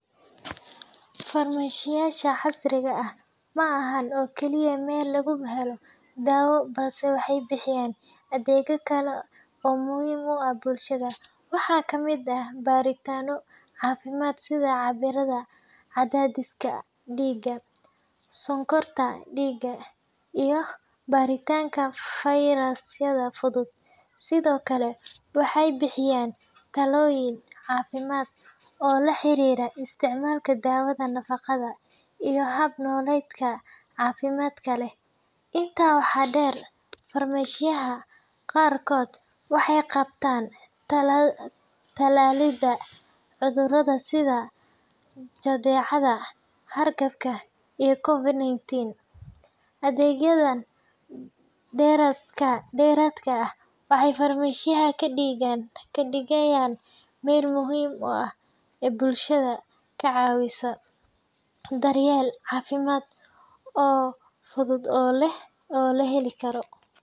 Farmashiyeyaasha casriga ah ma aha oo keliya meel laga helo dawo, balse waxay bixiyaan adeegyo kale oo muhiim u ah bulshada. Waxaa ka mid ah baaritaanno caafimaad sida cabbiraadda cadaadiska dhiigga, sonkorta dhiigga, iyo baaritaanka fayrasyada fudud. Sidoo kale, waxay bixiyaan talooyin caafimaad oo la xiriira isticmaalka dawada, nafaqada, iyo hab nololeedka caafimaadka leh. Intaa waxaa dheer, farmashiyeyaasha qaarkood waxay qabtaan talaalidda cudurrada sida jadeecada, hargabka, iyo COVID-19. Adeegyadan dheeraadka ah waxay farmashiyaha ka dhigayaan meel muhiim ah oo bulshada ka caawisa daryeel caafimaad oo fudud oo la heli karo.